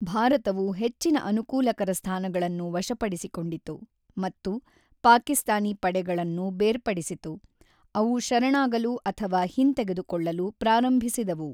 ಭಾರತವು ಹೆಚ್ಚಿನ ಅನುಕೂಲಕರ ಸ್ಥಾನಗಳನ್ನು ವಶಪಡಿಸಿಕೊಂಡಿತು ಮತ್ತು ಪಾಕಿಸ್ತಾನಿ ಪಡೆಗಳನ್ನು ಬೇರ್ಪಡಿಸಿತು, ಅವು ಶರಣಾಗಲು ಅಥವಾ ಹಿಂತೆಗೆದುಕೊಳ್ಳಲು ಪ್ರಾರಂಭಿಸಿದವು.